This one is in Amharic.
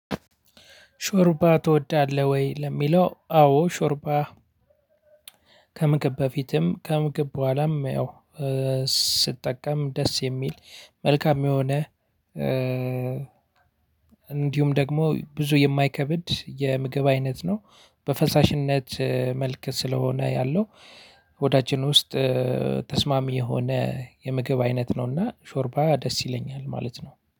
ሾርባ ትወዳለህ ወይ ለሚለው? አዎ ሾርባ ከምግብ በፊትም ከምግብ በኋላም ያው ስትጠቀም ደስ የሚል መልካም የሆነ። እንዲሁም ደግሞ ብዙ የማይከብድ የምግብ አይነት ነው። በፈሳሽነት መልክ ስለሆነ ያለው ሆዳችን ውስጥ ተስማሚ የሆነ የምግብ አይነት ነው። እና ሾርባ ደስ ይለኛል ማለት ነው